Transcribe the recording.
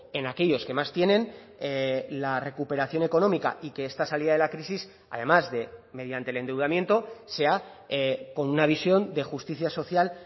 en aquellos que más tienen la recuperación económica y que esta salida de la crisis además de mediante el endeudamiento sea con una visión de justicia social